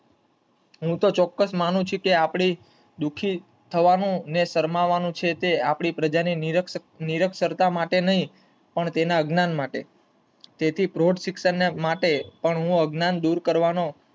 હું ચોક્કસ મનુ છું કે આપડે દુઃખી થાવનું ને શરમાવાનું છે તે આપડી પ્રજા ના નિરક્ષરતા માટે નહીં પણ અજ્ઞાન માટે તેથી પરોઢ શિક્ષણ માટે હું અજ્ઞાન દૂર કરવાનો